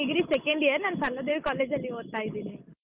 ಈವಾಗ degree second year ನಾನ್ Saraladevi college ಅಲ್ಲಿ ಓದ್ತಾ ಇದೀನಿ.